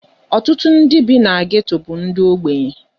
Ọtụtụ n'ime ndị bi na geto bụ ndị ogbenye.